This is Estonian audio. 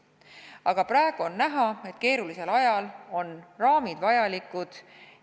Aga praegu on näha, et keerulisel ajal on raamid vajalikud.